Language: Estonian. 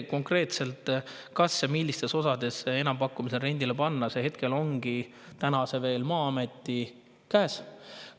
Konkreetselt see, milliste osadena enampakkumisele ja rendile panna, on veel Maa-ameti käes.